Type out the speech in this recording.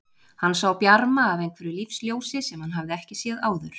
Hann sá bjarma af einhverju lífsljósi sem hann hafði ekki séð áður.